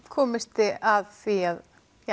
komist þið að því að